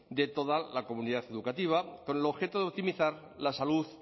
de toda la comunidad educativa con el objeto de optimizar la salud